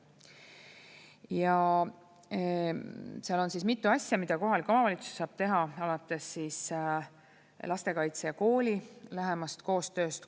Ja seal on mitu asja, mida kohalik omavalitsus saab teha alates lastekaitse ja kooli lähemast koostööst.